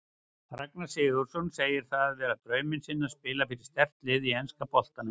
Ragnar Sigurðsson segir það vera drauminn sinn að spila fyrir sterkt lið í enska boltanum.